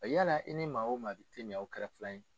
A yala i ni maa o maa bi te minaw kɛra filan ye